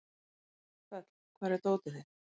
Þöll, hvar er dótið mitt?